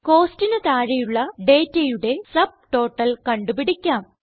Costന് താഴെയുള്ള ഡേറ്റയുടെ സബ്ടോട്ടൽ കണ്ടു പിടിക്കാം